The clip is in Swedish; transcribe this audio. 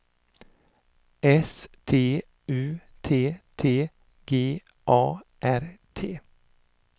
S T U T T G A R T